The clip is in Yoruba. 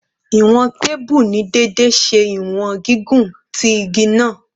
Iwọn teepu ni deede ṣe iwọn gigun ti igi naa